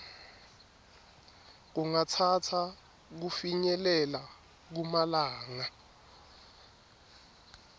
kungatsatsa kufinyelela kumalanga